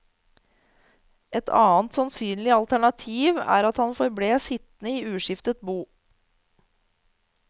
Et annet sannsynlig alternativ er at han forble sittende i uskiftet bo.